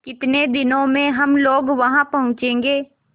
कितने दिनों में हम लोग वहाँ पहुँचेंगे